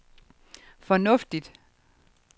fornuftigt